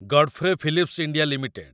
Godfrey Phillips India limited